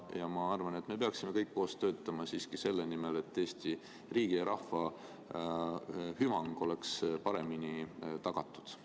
Ma arvan, et me peaksime kõik koos töötama siiski selle nimel, et Eesti riigi ja rahva hüvang oleks paremini tagatud.